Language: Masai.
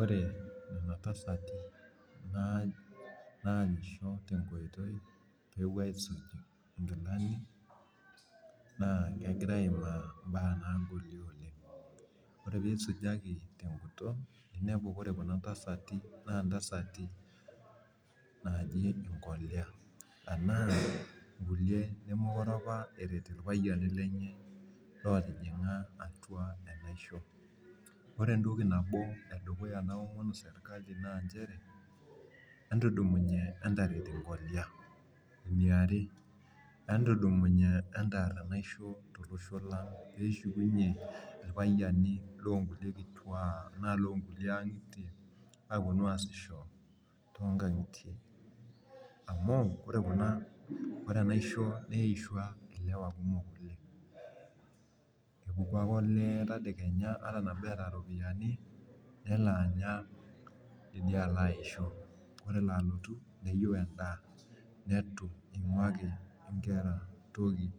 Ore oltasat naanyisho te nkoitoi pee epuo aaisuj nkilani, naa kegira aimaa imbaa naagoli oleng, inepu ore pee isujaki te guton pee Kuna tasati naaji nkolia .anaa nkulie nemeekure apa eret ilpayiani lenye, loptijinga atua enaisho. ore entoki, nabo edukuya nabo naomonu sirkali naa nchere, entudumunye entaret nkolia. eniare, entudumunye entaar enaisho tolosho lang peyie eshukunye ilpayiani loo nkulie kituak anaa loo nkulie angitie, aapuonu aasisho too nkajijik. amu ore Kuna ore enaisho .neishua ilewa kumok oleng. epuku ake oleee tedekenya ata enapitai, iropiyiani. nelo aya alo aishu ore ele alutp meyieu edaa neitu ingukie nkera ai toki